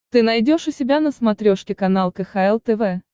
ты найдешь у себя на смотрешке канал кхл тв